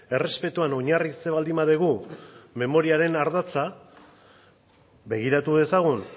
errespetuan oinarritzen baldin badugu memoriaren ardatza begiratu dezagun